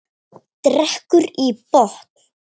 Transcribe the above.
Drekkur í botn.